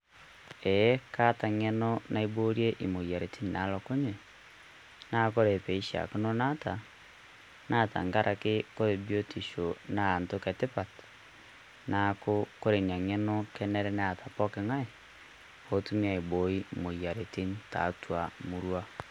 Ee kaata eng'eno naiborie emoyiaritin naalokunye, naa ore peishaakino naata teng'araki ore biotisho naa entoki etipat neeku ore Ina ng'eno kenare Neeta pooki ng'ae peetumi aiboi imoyiaritin tiatua emurua.